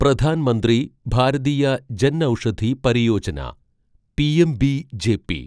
Pradhan Mantri Bharatiya Janaushadhi Pariyojana PMBJP